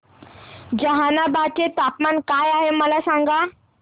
जहानाबाद चे तापमान काय आहे मला सांगा